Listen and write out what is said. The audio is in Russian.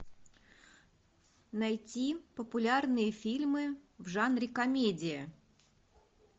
найти популярные фильмы в жанре комедия